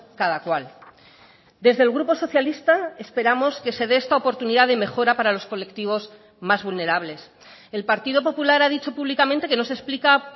cada cual desde el grupo socialista esperamos que se dé esta oportunidad de mejora para los colectivos más vulnerables el partido popular ha dicho públicamente que no se explica